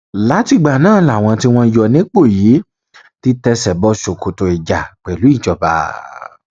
látìgbà náà làwọn tí wọn yọ nípò yìí ti tẹsẹ bọ ṣòkòtò ìjà pẹlú ìjọba